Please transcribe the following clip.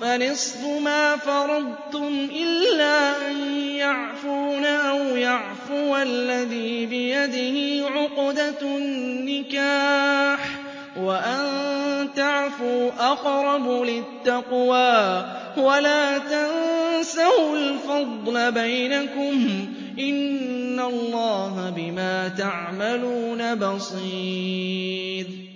فَنِصْفُ مَا فَرَضْتُمْ إِلَّا أَن يَعْفُونَ أَوْ يَعْفُوَ الَّذِي بِيَدِهِ عُقْدَةُ النِّكَاحِ ۚ وَأَن تَعْفُوا أَقْرَبُ لِلتَّقْوَىٰ ۚ وَلَا تَنسَوُا الْفَضْلَ بَيْنَكُمْ ۚ إِنَّ اللَّهَ بِمَا تَعْمَلُونَ بَصِيرٌ